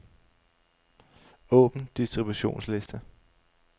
Åbn distributionsliste.